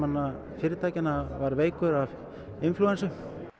fyrirtækjanna var veikur af inflúensu